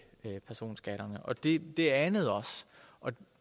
personskatterne det anede os og